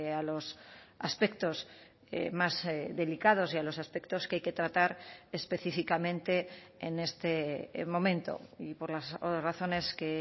a los aspectos más delicados y a los aspectos que hay que tratar específicamente en este momento y por las razones que